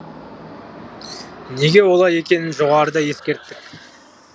неге олай екенін жоғарыда ескерттік